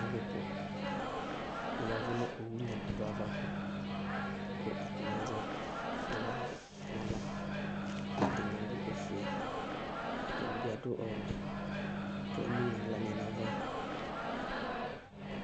Alʋ bʋ, aya ɛvʋ nʋ owu nyamadʋ yɛ ava, kʋ atanɩ azɛ flali nʋ ava, atanɩ adʋ ofue, ɛdɩnɩ bɩ adʋ ɔwɛ, kʋ emu nʋ aɣlanɩ nʋ ava